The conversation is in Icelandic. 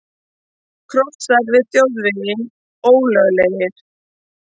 Krossar við þjóðveginn ólöglegir